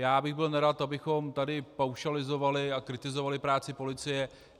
Já bych byl nerad, abychom tady paušalizovali a kritizovali práci policie.